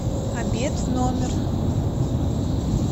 обед в номер